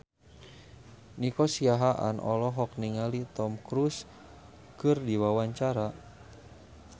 Nico Siahaan olohok ningali Tom Cruise keur diwawancara